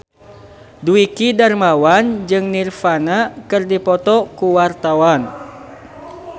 Dwiki Darmawan jeung Nirvana keur dipoto ku wartawan